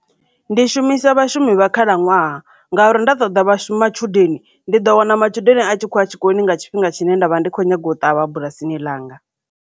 Ndi shumisa vhashumi vha khalaṅwaha ngauri nda ṱoḓa vhashumi matshudeni ndi ḓo wana matshudeni a tshi khou ya tshikoloni nga tshifhinga tshine nda vha ndi kho nyaga u ṱavha bulasini ḽanga.